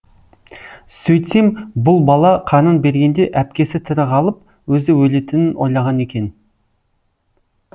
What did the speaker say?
сөйтсем бұл бала қанын бергенде әпкесі тірі қалып өзі өлетінін ойлаған екен